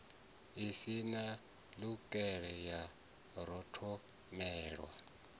i si ṋukale ya rotholelwa